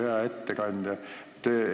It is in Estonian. Hea ettekandja!